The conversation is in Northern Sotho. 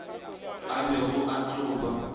a bego a tlo ba